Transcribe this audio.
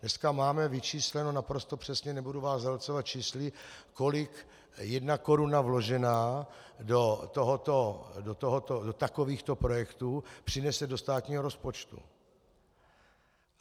Dneska máme vyčísleno naprosto přesně, nebudu vás zahlcovat čísly, kolik jedna koruna vložená do takovýchto projektů přinese do státního rozpočtu.